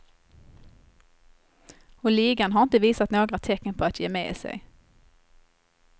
Och ligan har inte visat några tecken på att ge med sig.